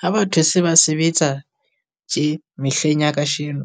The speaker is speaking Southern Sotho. Ha batho se ba sebetsa tje mehleng ya kasheno,